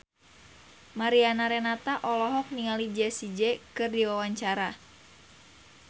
Mariana Renata olohok ningali Jessie J keur diwawancara